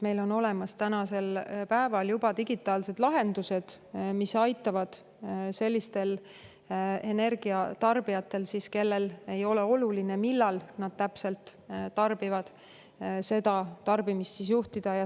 Meil on tänasel päeval olemas juba digitaalsed lahendused, mis aitavad sellistel energiatarbijatel, kelle jaoks ei ole oluline, millal täpselt nad tarbivad, seda tarbimist juhtida.